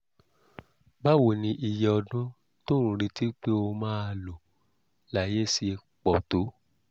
báwo ni iye ọdún tó ń retí pé ó máa lò láyé ṣe pọ̀ tó?